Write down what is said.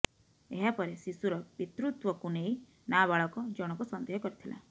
ଏହାପରେ ଶିଶୁର ପିତୃତ୍ୱକୁ ନେଇ ନାବାଳକ ଜଣକ ସନ୍ଦେହ କରିଥିଲା